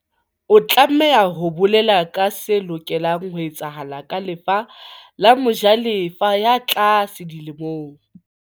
O tlameha o bolele se lokelang ho etsahala ka lefa la mojalefa ya tlase di lemong.